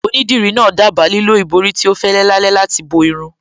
Onídìrí náà dábàá lílo ìborí tí ó fẹ́lẹ́ lálá láti bo irun